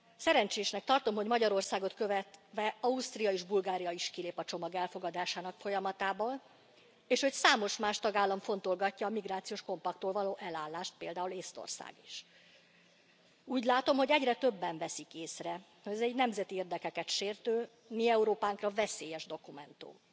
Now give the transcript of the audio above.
Szerencsésnek tartom, hogy Magyarországot követve Ausztria és Bulgária is kilép a csomag elfogadásának folyamatából, és hogy számos más tagállam fontolgatja a migrációs paktumtól való elállást, például Észtország is. Úgy látom, hogy egyre többen veszik észre, hogy ez egy nemzeti érdekeket sértő, a mi Európánkra veszélyes dokumentum.